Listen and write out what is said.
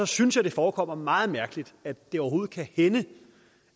synes jeg det forekommer meget mærkeligt at det overhovedet kan hænde